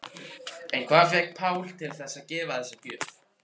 En hvað fékk Pál til þess að gefa þessa gjöf?